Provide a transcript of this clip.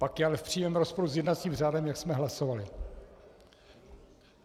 Pak je ale v přímém rozporu s jednacím řádem, jak jsme hlasovali.